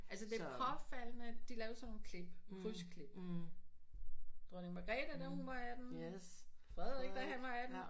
Altså det påfaldende de lavede sådan nogle klip kryds klip dronning Margrethe da hun var 18 Frederik da han var 18